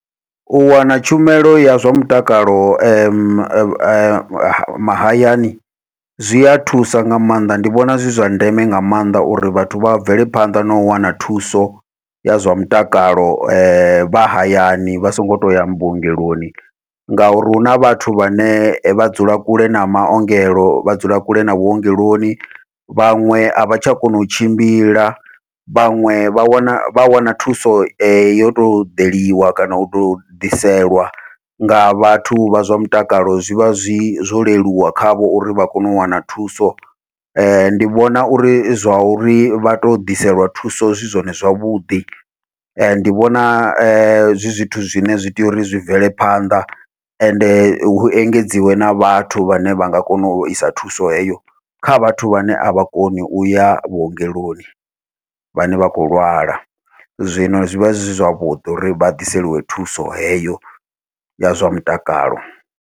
U wana tshumelo ya zwa mutakalo mahayani zwia thusa nga maanḓa ndi vhona zwi zwa ndeme nga maanḓa uri vhathu vha a bvele phanḓa nau wana thuso ya zwa mutakalo vha hayani vha songo tou ya vhuongeloni, ngauri huna vhathu vhane vha dzula kule na maongelo vha dzula kule na vhuongeloni, vhaṅwe avha tsha kona u tshimbila vhaṅwe vha wana vha wana thuso yo tou ḓeliwa kana utou ḓiselwa nga vhathu vha zwa mutakalo zwivha zwi zwo leluwa khavho uri vha kone u wana thuso. Ndi vhona uri zwa uri vhato ḓiselwa thuso zwi zwone zwavhuḓi, ndi vhona zwi zwithu zwine zwi tea uri zwi bvele phanḓa ende hu engedziwe na vhathu vhane vha nga kona u isa thuso heyo kha vhathu vhane avha koni uya vhuongeloni, vhane vha khou lwala zwino zwi vha zwi zwavhuḓi uri vha ḓiseliwe thuso heyo ya zwa mutakalo.